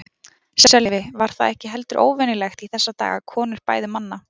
Sölvi: Var það ekki heldur óvenjulegt í þessa daga að konur bæðu manna?